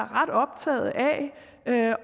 ret optaget af